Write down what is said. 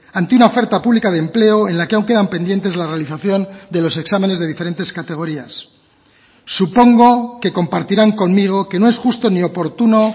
ante una oferta pública de empleo en la que aún quedan pendientes la realización de los exámenes de diferentes categorías supongo que compartirán conmigo que no es justo ni oportuno